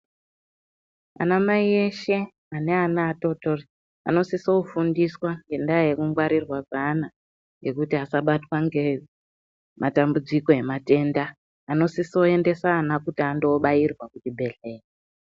Anamai eshe ane ana atotori, anosisofundiswa ngendaa yekungwarirwa kweana, ngekuti asabatwa ngematambudziko ematenda. Anosisoendesa ana kuti andobaairwa kuchibhedhleya.